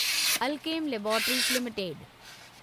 Alkem laboratories limited